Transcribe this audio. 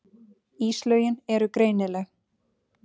Íslögin eru greinileg.